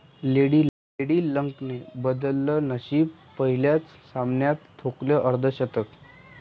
lady लकने बदललं नशीब, पहिल्याच सामन्यात ठोकले अर्धशतक